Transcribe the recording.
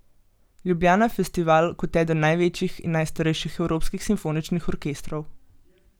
Ljubljana Festival kot eden največjih in najstarejših evropskih simfoničnih orkestrov.